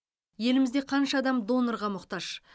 елімізде қанша адам донорға мұқтаж